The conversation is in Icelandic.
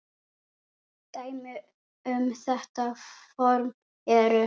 Dæmi um þetta form eru